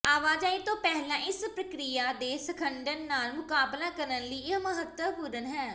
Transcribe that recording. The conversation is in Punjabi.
ਆਵਾਜਾਈ ਤੋਂ ਪਹਿਲਾਂ ਇਸ ਪ੍ਰਕਿਰਿਆ ਦੇ ਸੰਗਠਨ ਨਾਲ ਮੁਕਾਬਲਾ ਕਰਨ ਲਈ ਇਹ ਮਹੱਤਵਪੂਰਣ ਹੈ